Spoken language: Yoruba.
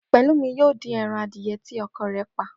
Pè̩lúmi yóò dín e̩ran adìye̩ tí o̩ko̩ rè̩ pa